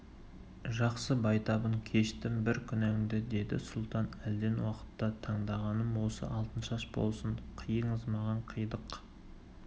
жақсы байтабын кештім бір күнәңді деді сұлтан әлден уақытта таңдағаным осы алтыншаш болсын қиыңыз маған қидық